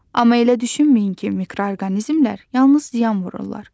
Amma elə düşünməyin ki, mikroorqanizmlər yalnız ziyan vururlar.